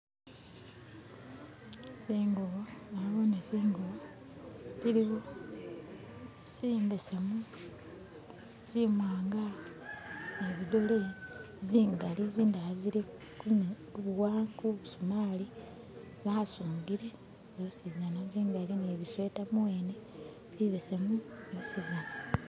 Nabone zingubo zirimo zimbesemu, zimwanga ni zidole zingali zindala zili ku busumali basungire zosizana zingali ni busweta muwene bibesemu byosizana